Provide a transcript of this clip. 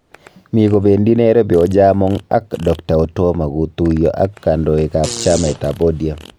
Mi kobendi Nairobi Ojaamong ak Dkt Otuoma kotuiyo ak kandoik ab chamait ab ODM